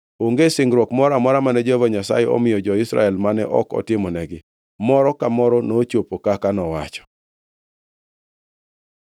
Onge singruok moro amora mane Jehova Nyasaye omiyo jo-Israel mane ok otimonegi; moro ka moro nochopo kaka nowacho.